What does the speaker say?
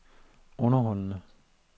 underholdende